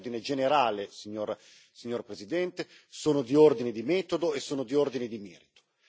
Sono di ordine generale, signora Presidente, sono di ordine di metodo e sono di ordine di merito.